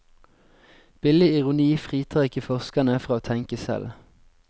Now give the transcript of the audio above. Billig ironi fritar ikke forskerne fra å tenke selv.